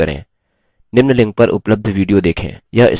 निम्न link पर उपलब्ध video देखें